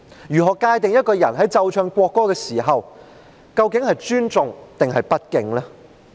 如何界定一個人在奏唱國歌時是尊重抑或不敬？